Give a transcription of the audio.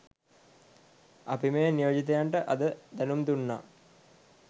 අපි මේ නියෝජිතයන්ට අද දැනුම් දුන්නා